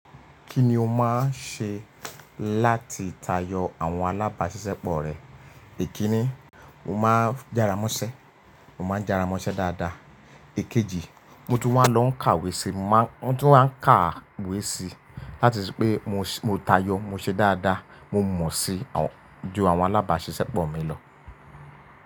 Kí ni o máa ń ṣe láti tayọ àwọn alábàáṣiṣẹ́pọ̀ rẹ? Èkínní, mo máa ń jára mọ́ṣẹ́, mo máa ń jára mọ́ṣẹ́ dáadáa. Èkejì, mo tún wá lọ ń kàwé si, mo tún wá ń kàwé si láti ṣe pé mo tayọ, mo ṣe dáadáa, mo mọ̀ síi ju àwọn alábàáṣiṣẹ́pọ̀ mi lọ.